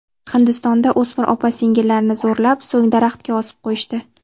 Hindistonda o‘smir opa-singillarni zo‘rlab, so‘ng daraxtga osib qo‘yishdi.